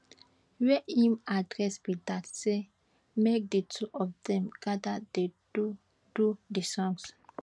wey im address be dat say make di two of dem gada dey do do di songs